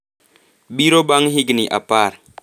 biro bang’ higni apar,